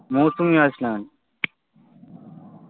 Mousumi island